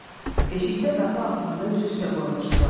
Eşikdə qapı ağzında üzü üstə qoymuşdular.